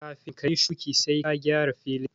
Kafin ka yi shuƙi sai ka gyara filin